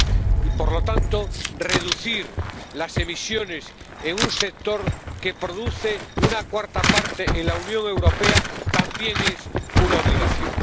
Y, por lo tanto, reducir las emisiones en un sector que produce una cuarta parte en la Unión Europea también es una obligación.